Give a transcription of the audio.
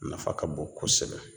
Nafa ka bon kosɛbɛ